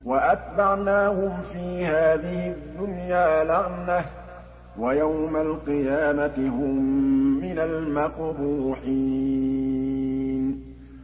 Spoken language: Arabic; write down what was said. وَأَتْبَعْنَاهُمْ فِي هَٰذِهِ الدُّنْيَا لَعْنَةً ۖ وَيَوْمَ الْقِيَامَةِ هُم مِّنَ الْمَقْبُوحِينَ